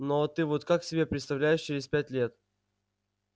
ну а ты вот как себе представляешь через пять лет